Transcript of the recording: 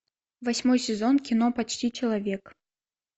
восьмой сезон кино почти человек